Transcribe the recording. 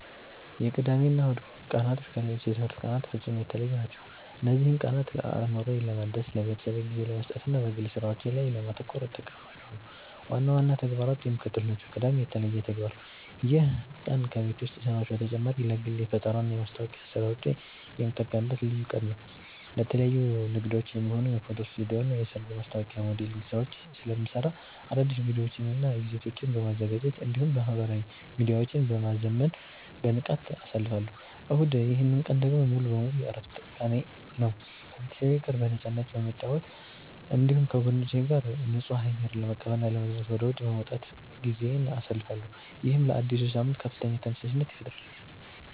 የቅዳሜና እሁድ ቀናት ከሌሎች የትምህርት ቀናት ፍጹም የተለዩ ናቸው። እነዚህን ቀናት አእምሮዬን ለማደስ፣ ለቤተሰቤ ጊዜ ለመስጠትና በግል ሥራዎቼ ላይ ለማተኮር እጠቀምባቸዋለሁ። ዋና ዋና ተግባራቱ የሚከተሉት ናቸው፦ ቅዳሜ (የተለየ ተግባር)፦ ይህ ቀን ከቤት ውስጥ ሥራዎች በተጨማሪ ለግል የፈጠራና የማስታወቂያ ሥራዎቼ የምጠቀምበት ልዩ ቀን ነው። ለተለያዩ ንግዶች የሚሆኑ የፎቶ ስቱዲዮና የሰርግ ማስታወቂያ ሞዴሊንግ ሥራዎችን ስለምሠራ፣ አዳዲስ ቪዲዮዎችንና ይዘቶችን በማዘጋጀት እንዲሁም ማኅበራዊ ሚዲያዎቼን በማዘመን በንቃት አሳልፋለሁ። እሁድ፦ ይህ ቀን ደግሞ ሙሉ በሙሉ የዕረፍት ቀኔ ነው። ከቤተሰቤ ጋር በነፃነት በመጨዋወት፣ እንዲሁም ከጓደኞቼ ጋር ንጹህ አየር ለመቀበልና ለመዝናናት ወደ ውጪ በመውጣት ጊዜዬን አሳልፋለሁ። ይህም ለአዲሱ ሳምንት ከፍተኛ ተነሳሽነት ይፈጥርልኛል።